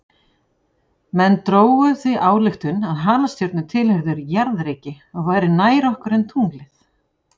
Menn drógu því þá ályktun að halastjörnur tilheyrðu jarðríki og væru nær okkur en tunglið.